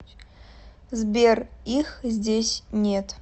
сбер их здесь нет